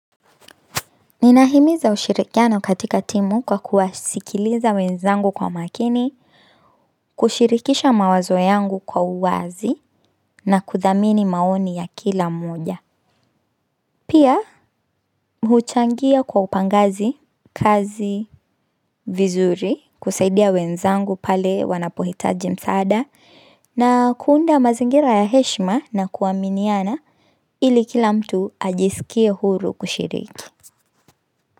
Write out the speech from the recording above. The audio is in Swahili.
Nina himiza ushirikiano katika timu kwa kuwasikiliza wenzangu kwa makini, kushirikisha mawazo yangu kwa uwazi na kudhamini maoni ya kila moja. Pia, mchuchangia kwa upangazi, kazi, vizuri, kusaidia wenzangu pale wanapohitaji msaada na kuunda mazingira ya heshma na kuaminiana ili kila mtu ajisikie huru kushiriki.